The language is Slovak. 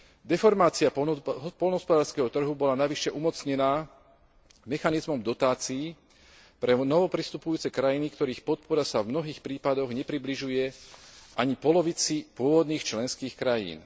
Deformácia poľnohospodárskeho trhu bola navyše umocnená mechanizmom dotácií pre novopristupujúce krajiny, ktorých podpora sa v mnohých prípadoch nepribližuje ani polovici pôvodných členských krajín.